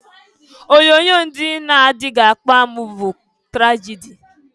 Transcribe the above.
Onyoonyo ndị na-anaghị akpa amụ bụ tragịdị.